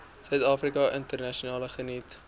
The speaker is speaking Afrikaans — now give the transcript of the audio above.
suidafrika internasionaal geniet